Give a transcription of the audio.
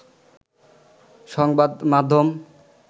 সংবাদ মাধ্যম